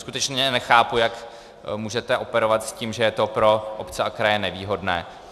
Skutečně nechápu, jak můžete operovat s tím, že je to pro obce a kraje nevýhodné.